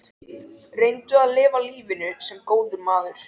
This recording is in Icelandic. Reyndu að lifa lífinu- sem góður maður.